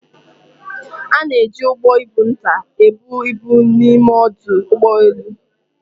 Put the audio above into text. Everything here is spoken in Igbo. A na-eji ụgbọ ibu nta ebu ibu n'ime ọdụ ụgbọ elu.